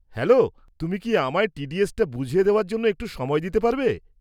Hello, তুমি কি আমায় টি.ডি.এসটা বুঝিয়ে দেওয়ার জন্য একটু সময় দিতে পারবে?